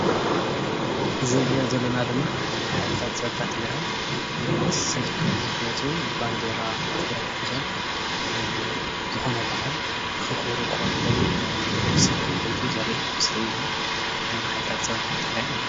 እዚ እንሪኦ ዘለና ድማ ሓይልታት ፀጥታ ትግራይ ሰልፊ ክወፁ ባንደራ ትግራይ ሒዞም ዝኮነ ባዓል ከክብሩ ክኮን ይክእል እዩ ሰልፊ እንትወፅኡ ዘርኢ ምስሊ እዩ ሓይልታት ፀፅታ ትግራይ ማለት